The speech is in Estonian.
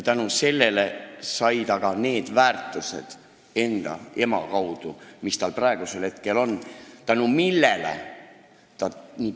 Tänu sellele sai ta enda ema kaudu ka need väärtused, mis tal praegu on.